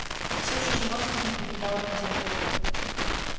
и все же животных не покидала надежда